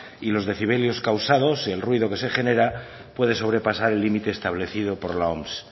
y los decibelios causados y el ruido que se genera puede sobrepasar el límite establecido por la oms